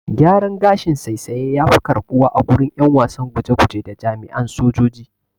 Gyaran gashin saisaye yafi karɓuwa agurin ƴan wasan guje guje da jami'an sojoji.